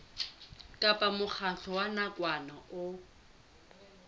kapa mokgatlo wa nakwana o